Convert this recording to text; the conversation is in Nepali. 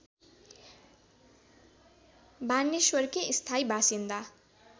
बानेश्वरकी स्थायी बासिन्दा